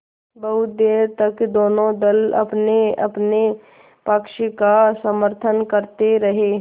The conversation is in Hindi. बहुत देर तक दोनों दल अपनेअपने पक्ष का समर्थन करते रहे